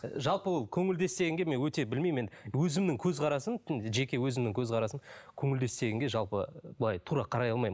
і жалпы ол көңілдес дегенге мен өте білмеймін енді өзімнің көзқарасым жеке өзімнің көзқарасым көңілдес дегенге жалпы былай тура қарай алмаймын